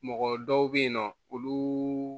Mɔgɔ dɔw bɛ yen nɔ olu